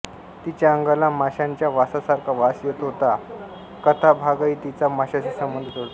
तिच्या अंगाला माशाच्या वासासारखा वास येत होता हा कथाभागही तिचा माशाशी संबंध जोडतो